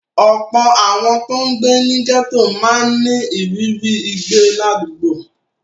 Ọ̀pọ̀ àwọn tó ń gbé ní gẹ́tò máa ń ní ìrírí ìgbé ládùúgbò.